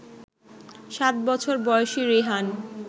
সাত বছর বয়সী রিহান